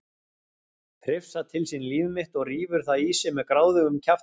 Hrifsar til sín líf mitt og rífur það í sig með gráðugum kjaftinum.